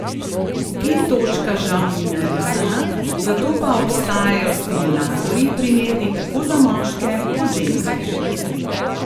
G točka žal ni narisana, zato pa obstajajo stimulatorji, primerni tako za moške kot ženske.